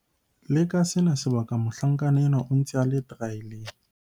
Le ka sena sebaka mohlankana enwa o ntse a le teraeleng.